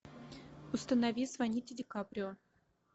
установи звоните ди каприо